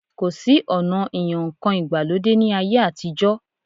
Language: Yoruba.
Kò sí ọ̀na ìyan ǹkan ìgbàlódé ní ayé àtijọ́